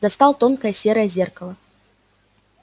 достал тонкое серое зеркало